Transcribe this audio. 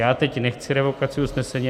Já teď nechci revokaci usnesení.